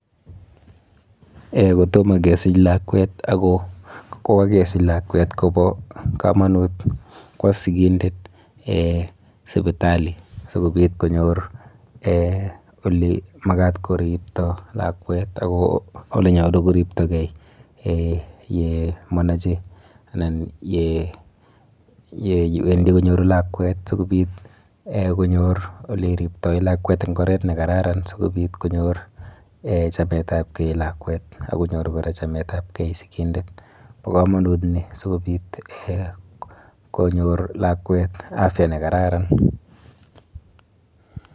Kotomo kesich lakwet ako kokakesich lakwet, kobo komonut kwo sigindet sipitali. Sikobit konyor ole makat koripto lakwet, ak olenyolu koriptokey ye manache anan yewendi konyor lakwet asikobit konyor ole riptoi lakwet eng' oret ne kararan sikobit konyor chametabkey lakwet, ak konyor kora chametabkey sigindet. Bo komonut ni, sikobit konyor lakwet afya ne kararan.